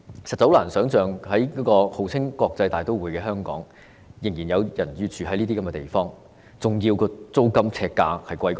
實在很難想象，在號稱國際大都會的香港，仍然有人要居住於這些地方，而且租金呎價比豪宅還要高。